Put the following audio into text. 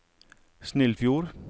Snillfjord